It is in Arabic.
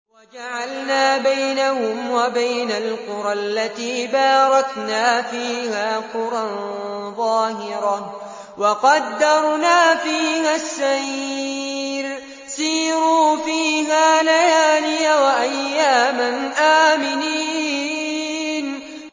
وَجَعَلْنَا بَيْنَهُمْ وَبَيْنَ الْقُرَى الَّتِي بَارَكْنَا فِيهَا قُرًى ظَاهِرَةً وَقَدَّرْنَا فِيهَا السَّيْرَ ۖ سِيرُوا فِيهَا لَيَالِيَ وَأَيَّامًا آمِنِينَ